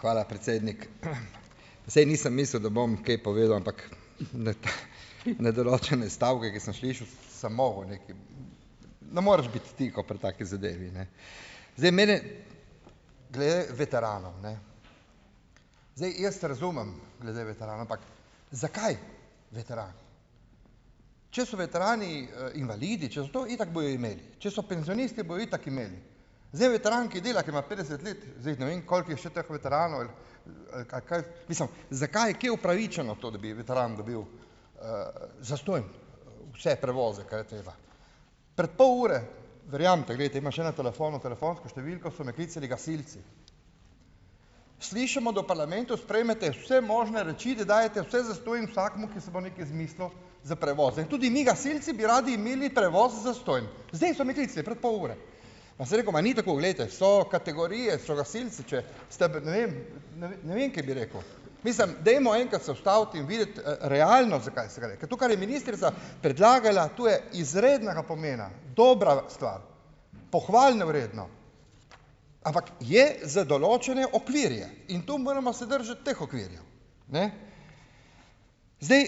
Hvala, predsednik. Saj nisem mislil, da bom kaj povedal, ampak na določene stavke, ki sem slišal, sem mogel nekaj, ne moreš biti tiho pri taki zadevi, ne. Zdaj mene, glede veteranov, ne. Zdaj, jaz razumem glede veteranov, ampak zakaj veterani? Če so veterani, invalidi, če so to, itak bojo imeli. Če so penzionisti, bojo itak imeli. Zdaj, veteran, ki dela, ki ima petdeset let, zdaj ne vem, koliko je še teh veteranov, ali, kaj, mislim, zakaj, kje upravičeno to, da bi veteran dobil, zastonj vse prevoze, kaj je treba? Pred pol ure, verjamete, glejte, ima še na telefonu telefonsko številko, so me klicali gasilci. Slišimo, da v parlamentu sprejmete vse možne reči, da dajete vse zastonj vsakemu, ki se bo nekaj izmislil, za prevoze. In tudi mi gasilci bi radi imeli prevoz zastonj. Zdaj so me klicali, pred pol ure. Pa sem rekel: "Ma ni tako, glejte, so kategorije, so gasilci, če ste ne vem, ne vem, kaj bi rekel." Mislim, dajmo enkrat se ustaviti in videti, realno, zakaj se gre. Ker to, kar je ministrica predlagala, to je izrednega pomena. Dobra stvar. Pohvale vredno. Ampak je za določene okvirje. In to moramo se držati teh okvirjev. Ne. Zdaj,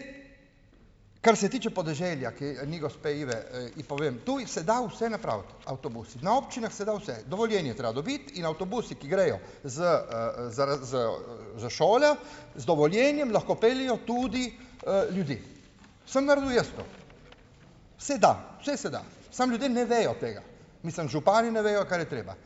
kar se tiče podeželja, ker ni gospe Ive, da, ji povem . Tudi se da vse napraviti avtobus. Na občinah se da vse. Dovoljenje je treba dobiti in avtobusi, ki grejo z, z, za šole, z dovoljenjem lahko peljejo tudi, ljudi. Sem naredil jaz to. Se da. Vse se da. Samo ljudje ne vejo tega. Mislim, župani ne vejo, kar je treba.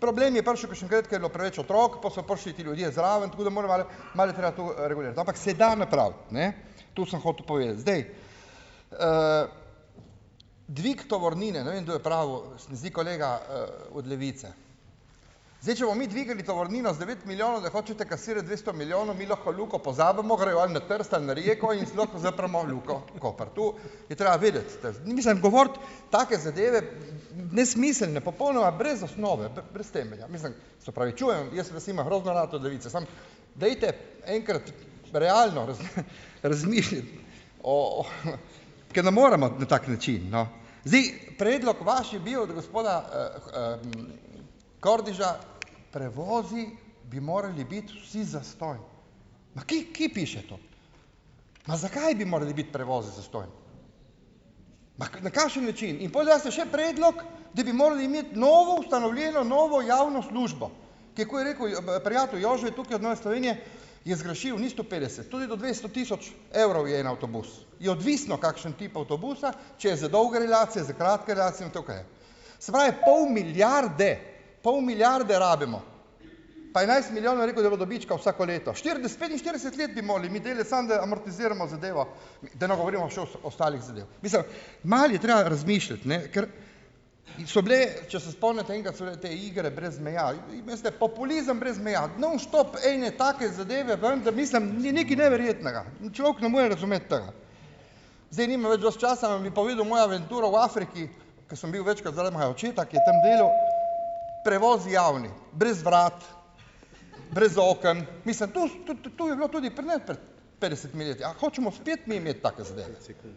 problem je prišel k še takrat, ke je bilo preveč otrok, pa so prišli ti ljudje zraven, tako da moram malo, malo je treba to regulirati. Ampak se da napraviti, ne. To sem hotel povedati. Zdaj, dvig tovornine, ne vem, kdo je pravil, se mi zdi kolega, od Levice. Zdaj, če bomo mi dvignili tovornino z devet milijonov, da hočete kasirati dvesto milijonov , mi lahko Luko pozabimo, grejo on na Trst ali na Reko in lahko zapremo Luko Koper. Tu je treba vedeti, mislim govoriti take zadeve nesmiselne, popolnoma brez osnove, brez temelja, mislim se opravičujem. Jaz vas imam grozno rad od Levice, samo dajte enkrat realno razmišljati o, o, ker ne moremo na tak način, no. Zdaj, predlog vaš je bil, od gospoda, Kordiša: "Prevozi bi morali biti vsi zastonj." Pa kje, kje piše to? Ma, zakaj bi morali biti prevozi zastonj? Ma, na kakšen način? In pol daste še predlog, da bi morali imeti novo, ustanovljeno novo javno službo. Ker, ko je rekel prijatelj Jože tukaj od Nove Slovenije, je zgrešil, ni sto petdeset, tudi do dvesto tisoč evrov je en avtobus. Je odvisno, kakšen tip avtobusa, če je za dolge relacije, za kratke relacije in tukaj. Se pravi, pol milijarde, pol milijarde rabimo. Pa enajst milijonov je rekel, da bo dobička vsako leto. Štirideset, petinštirideset let bi morali mi delati, samo da amortiziramo zadevo, da ne govorimo še ostalih zadev. Mislim, malo je treba razmišljati, ne. Kar so bile, če se spomnite, enkrat so bile te igre brez meja, in, in veste, populizem brez meja. Non stop ene take zadeve ven, da mislim, ni nekaj neverjetnega. In človek ne more razumeti tega. Zdaj, nimam več dosti časa, bom vam povedal mojo avanturo v Afriki, ko sem bil večkrat zaradi mojega očeta, ki je tam delal . Prevozi javni. Brez vrat, brez oken, mislim to to je bilo tudi pri nas prej petdesetimi leti. A hočemo spet mi imeti take zadeve, recimo ?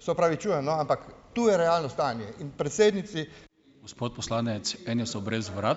Se opravičujem, no, ampak tu je realno stanje in predsednici ...